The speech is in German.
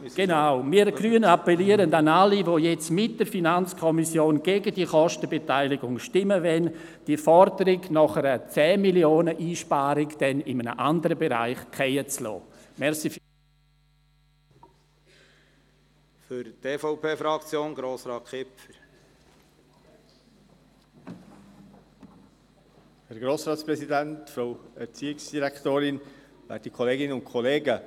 Wir Grüne appellieren an alle, die mit der FiKo gegen diese Kostenbeteiligung stimmen wollen, die Forderung nach einer Einsparung dieser 10 Mio. Franken dann in einem anderen Bereich fallen zu lassen.